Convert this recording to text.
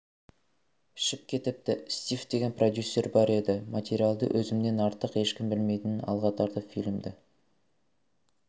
ішіп кетіпті стив деген продюсер бар еді материалды өзімнен артық ешкім білмейтінін алға тартып фильмді